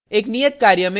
एक नियत कार्य में